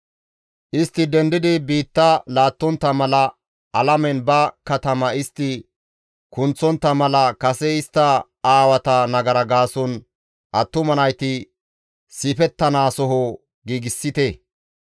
Istti dendidi biitta laattontta mala, alamen ba katama istti kunththontta mala kase istta aawata nagara gaason attuma nayti siifettanaasoho giigsite.